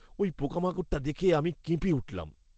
ওই পোকামাকড়টা দেখে আমি কেঁপে উঠলাম।